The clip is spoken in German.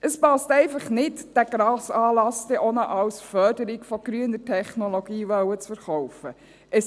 Es passt einfach nicht, diesen Grossanlass dann auch noch als Förderung von grüner Technologie verkaufen zu wollen.